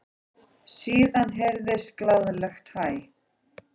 Síðan heyrðist glaðlegt hæ.